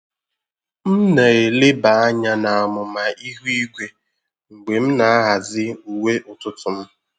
M na-eleba anya na amụma ihu igwe mgbe m na-ahazi uwe ụtụtụ m.